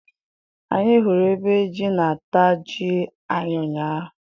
Anyị hụrụ ebe jị na- ata jị anyị ụnyaahụ